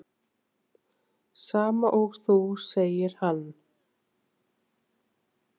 Sama og þú, segir hann.